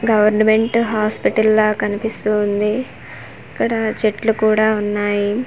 Government hospital లా కనిపిస్తూ ఉంది ఇక్కడ చెట్లు కూడా ఉన్నాయి.